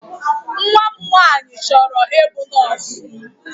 Nwa m nwanyị chọrọ ịbụ nọọsụ.